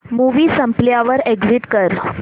movie संपल्यावर exit कर